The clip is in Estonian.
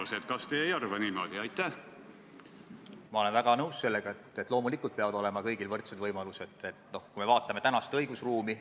See, mis te nüüd ette panete edasilükkamise koha pealt, tegelikult lähtub sellest, et need, kellel on probleem või kellel probleem tekib, ei saa jälle järgmised viis aastat abi.